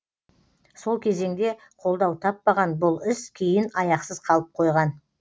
сол кезеңде қолдау таппаған бұл іс кейін аяқсыз қалып қойған